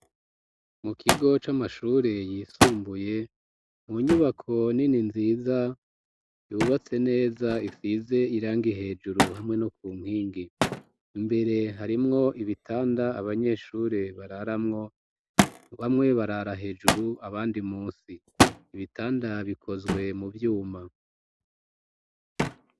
Mu kigo, c'amashure yisumbuye, mu nyubako nini, nziza, yubatse neza, isize irangi, hejuru, hamwe no ku nkingi; imbere, harimwo ibitanda, abanyeshure bararamwo; bamwe, barara hejuru, abandi munsi; ibitanda bikozwe mu vyuma.